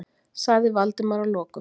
sagði Valdimar að lokum.